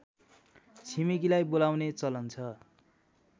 छिमेकीलाई बोलाउने चलन छ